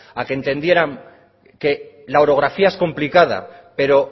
a que entendieran que la orografía es complicada pero